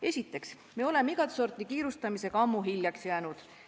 Esiteks, me oleme igat sorti kiirustamisega ammu hiljaks jäänud.